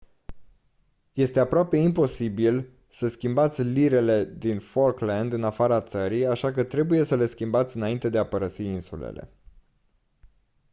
este aproape imposibil să schimbați lirele din falkland în afara țării așa că trebuie să le schimbați înainte de a părăsi insulele